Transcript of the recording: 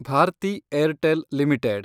Bharati Airtel limited